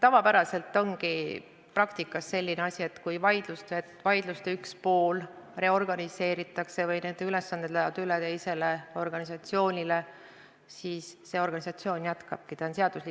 Tavapäraselt ongi praktikas selline asi, et kui vaidluste üks pool reorganiseeritakse või tema ülesanded lähevad üle teisele organisatsioonile, siis see organisatsioon jätkabki vaidlust.